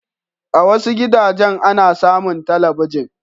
A wasu gidajen ana samun talabijin.